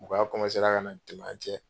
Mɔgɔya ka na don an cɛ.